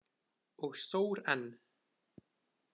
Og sór enn.